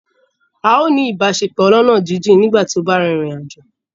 A ó ní ìbáṣepọ̀ ọlọ́ná jíjìn nígbà tí ó bá rin ìrìn àjò